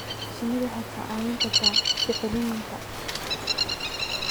Shinnidu waxay kaa caawin kartaa bacriminta